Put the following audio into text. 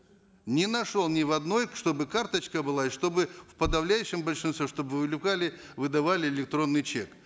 не нашел ни в одной чтобы карточка была и чтобы в подавляющем большинстве чтобы привлекали выдавали электронный чек